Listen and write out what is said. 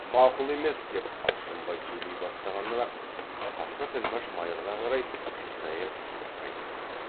мақұл емес деп алшынбай сөйлей бастағаннан ақ қасқа тілмәш майырға қарай қисая түсіп айтып жатыр